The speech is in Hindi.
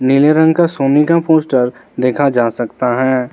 नीले रंग का सोनी का पोस्टर देखा जा सकता है।